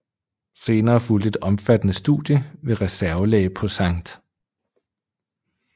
Senere fulgte et omfattende studie ved reservelæge på Sct